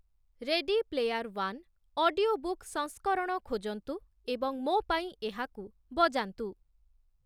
ready Player One' audio book ସଂସ୍କରଣ ଖୋଜନ୍ତୁ ଏବଂ ମୋ ପାଇଁ ଏହାକୁ ବଜାନ୍ତୁ |